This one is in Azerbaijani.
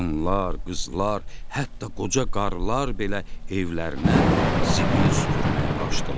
Qadınlar, qızlar, hətta qoca qarılar belə evlərinə zibil süpürməyə qaçdılar.